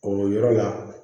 O yɔrɔ la